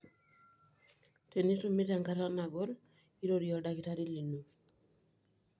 Tenitumito enkata nagol, irorie oldakitari lino.